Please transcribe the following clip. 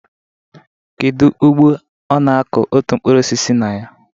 Kedu ugbo ọ na-akọ otu mkpụrụ osisi na ya?